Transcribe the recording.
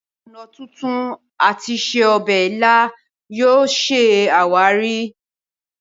ọnà tuntun àti se obè ila yóò ṣe àwáàrí.